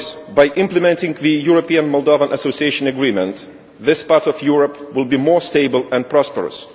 By implementing the European Moldovan Association Agreement, this part of Europe will be more stable and prosperous.